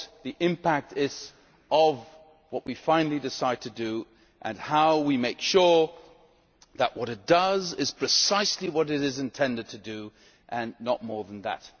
the impact of what we finally decide to do, and of how to ensure that what it does is precisely what it is intended to do and not more than that.